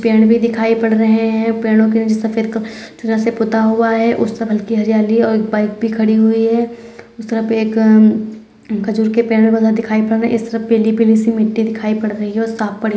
पेड़ भी दिखाई पड़ रहे है पेड़ो के सफेद चूना से पूता हुआ है उस की हरियाली और एक बाइक भी खड़ी हुई है उस तरफ एक खजूर के पेड़ बहुत सारे दिखाई पड़ रहे इस तरफ ।